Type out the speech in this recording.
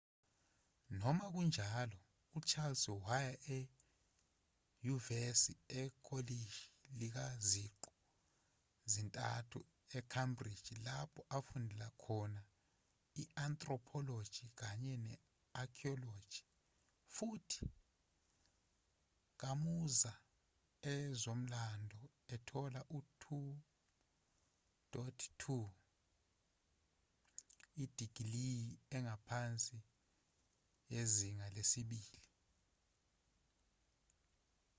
noma kunjalo uchales waya enyuvesi ekolishi likaziqu zintathu e-cambridge lapho afundela khona i-anthropology kanye ne-archaeology futhi kamuza ezomlando ethola u-2:2 idigiliyi engaphansi yezinga lesibili